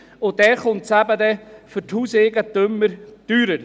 Dann kommt es für die Hauseigentümer teurer.